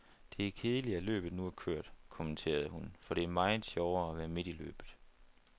Det er kedeligt, at løbet nu er kørt, kommenterede hun, for det er meget sjovere at være midt i løbet.